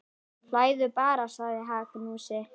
Hlæðu bara, sagði Magnús.